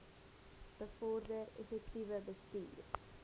bevorder effektiewe bestuur